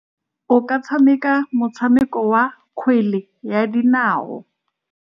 O ka tshameka motshameko wa kgwele ya dinao.